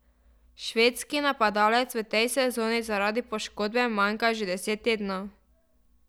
Švedski napadalec v tej sezoni zaradi poškodbe manjka že deset tednov.